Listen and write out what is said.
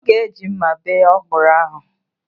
Ọ ga-eji mma bee ọkwụrụ ahụ.